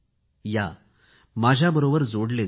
या माझ्याबरोबर जोडले जा